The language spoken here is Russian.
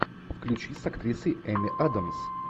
включи с актрисой эми адамс